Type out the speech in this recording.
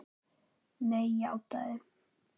Nei, játaði